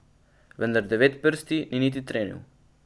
Vendar Devetprsti ni niti trenil.